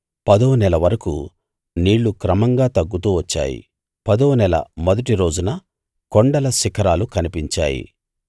పదో నెల వరకూ నీళ్ళు క్రమంగా తగ్గుతూ వచ్చాయి పదోనెల మొదటి రోజున కొండల శిఖరాలు కనిపించాయి